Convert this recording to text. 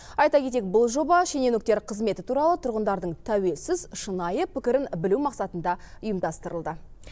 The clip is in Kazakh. айта кетейік бұл жоба шенеуніктер қызметі туралы тұрғындардың тәуелсіз шынайы пікірін білу мақсатында ұйымдастырылды